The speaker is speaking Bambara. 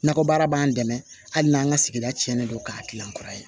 Nakɔbaara b'an dɛmɛ hali n'an ka sigida cɛnnen don k'a kilan kura ye